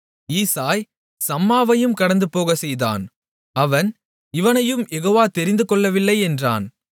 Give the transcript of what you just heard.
ஈசாய் சம்மாவையும் கடந்துபோகச்செய்தான் அவன் இவனையும் யெகோவா தெரிந்துகொள்ளவில்லை என்றான்